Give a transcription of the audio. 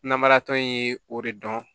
Namaratɔ in ye o de dɔn